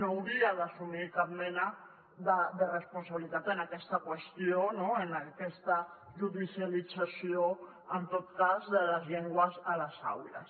no hauria d’assumir cap mena de responsabilitat en aquesta qüestió no en aquesta judicialització en tot cas de les llengües a les aules